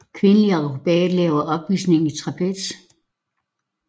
Kvindelig akrobat laver opvisning i trapez